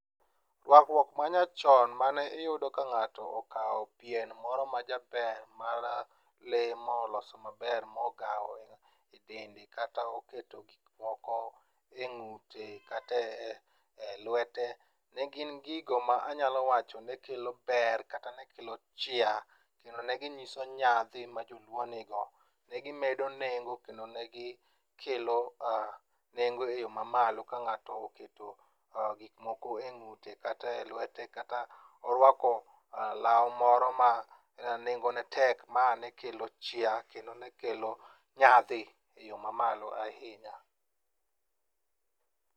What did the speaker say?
Rwakruok manyachon ma iyudo ka ng'ato okawo pien moro majaber mar lee moloso maber magawo e dende kata oketo gikmoko e ng'ute kata e lwete ne gin gigo ma anyalo wacho ni kelo ber kata ne kelo chia kendo ne ging'iso nyadhi ma joluo nigo ne gimedo nengo kendo ne gikelo nengo e yo mamalo ka ng'ato oketo gikmoko e ng'ute kata e lwete kata orwako law moro ma nengone tek ma ne kelo chia kendo ne kelo nyadhi e yo mamalo ahinya.